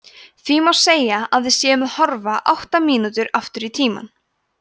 því má segja að við séum að horfa átta mínútur aftur í tímann